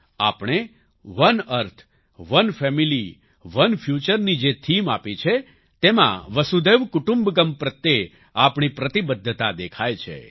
આપણે one earth one family one future ની જે થીમ આપી છે તેમાં વસુધૈવ કુટુંબક્મ પ્રત્યે આપણી પ્રતિબદ્ધતા દેખાય છે